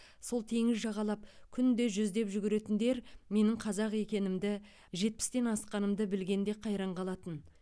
сол теңіз жағалап күнде жүздеп жүгіретіндер менің қазақ екенімді жетпістен асқанымды білгенде қайран қалатын